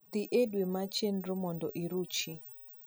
dhi e dwe mar chenro mondo iruchi